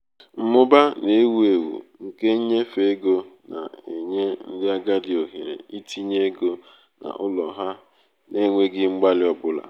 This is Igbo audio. mmụba na-ewu ewu nke nnyefe ego na-enye ndị agadi ohere itinye ego n'ụlọ ha n'enweghị mgbalị ọ bụla.